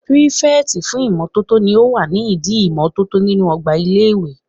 Pírífẹ̀tì fún ìmótótó ní o wà nídi ìmótótó nínu ọgbà ilé-ìwé